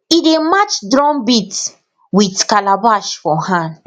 e dey match drum beat with calabash for hand